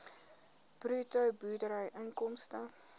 bruto boerderyinkomste